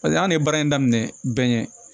Paseke hali ni baara in daminɛ bɛnɛ